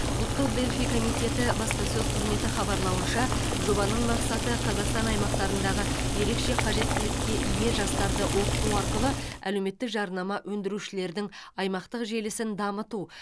ұлттық дельфий комитеті баспасөз қызметі хабарлауынша жобаның мақсаты қазақстан аймақтарындағы ерекше қажеттілікке ие жастарды оқыту арқылы әлеуметтік жарнама өндірушілердің аймақтық желісін дамыту